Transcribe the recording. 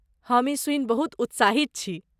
हम ई सुनि बहुत उत्साहित छी।